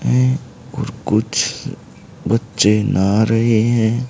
कि कुछ बच्चे नहा रहे है।